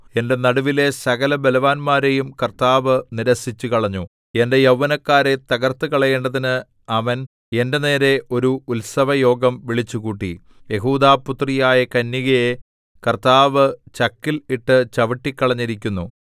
എന്റെ നടുവിലെ സകല ബലവാന്മാരെയും കർത്താവ് നിരസിച്ചുകളഞ്ഞു എന്റെ യൗവനക്കാരെ തകർത്തുകളയേണ്ടതിന് അവൻ എന്റെ നേരെ ഒരു ഉത്സവയോഗം വിളിച്ചുകൂട്ടി യെഹൂദാപുത്രിയായ കന്യകയെ കർത്താവ് ചക്കിൽ ഇട്ട് ചവിട്ടിക്കളഞ്ഞിരിക്കുന്നു